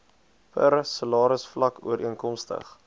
per salarisvlak ooreenkomstig